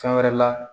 Fɛn wɛrɛ la